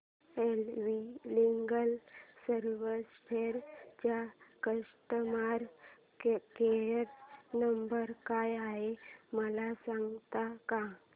S V legal services चा customer care number काय आहे मला सांगता का